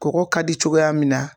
Kɔkɔ ka di cogoya min na